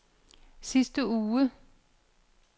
sidste uge